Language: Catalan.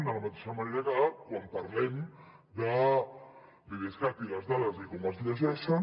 de la mateixa manera que quan parlem de l’idescat i les dades i com es llegeixen